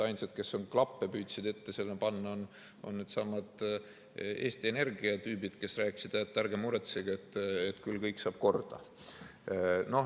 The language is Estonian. Ainsad, kes klappe püüdsid ette panna, on needsamad Eesti Energia tüübid, kes rääkisid, et ärge muretsege, küll kõik saab korda.